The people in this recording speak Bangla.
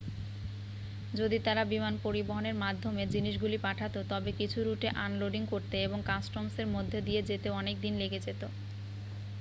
যদি তারা বিমান পরিবহণের মাধ্যমে জিনিসগুলি পাঠাতো তবে কিছু রুটে আনলোডিং করতে এবং কাস্টমসের মধ্য দিয়ে যেতে অনেক দিন লেগে যেত